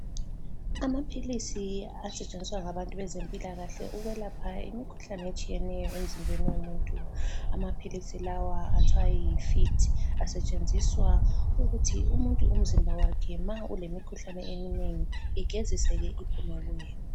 Amaphilisi asetshenziswa ngabantu bezempilakahle ukwelapha imikhuhlane etshiyeneyo emzimbeni womuntu. Amaphilisi lawa athiwa yi-F.I.T. Asetshenziswa ukuthi umuntu umzimba wakhe ma ulemikhuhlane eminengi igeziseke iphume kuye.